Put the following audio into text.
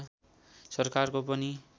सरकारको पनि